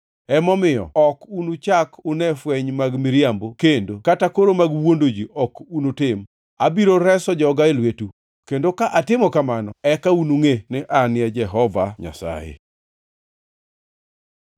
emomiyo ok unuchak une fweny mag miriambo kendo kata koro mag wuondo ji ok unutim. Abiro reso joga e lwetu. Kendo ka atimo kamano eka unungʼe ni An e Jehova Nyasaye.’ ”